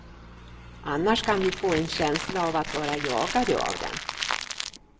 Annars kan vi få en känsla av att vara jagade av den.